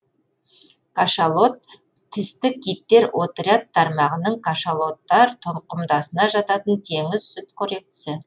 кашалот тісті киттер отряд тармағының кашалоттар тұқымдасына жататын теңіз сүтқоректісі